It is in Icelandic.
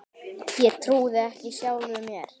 Ég trúði ekki sjálfum mér.